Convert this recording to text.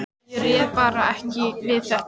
Ég réði bara ekki við þetta.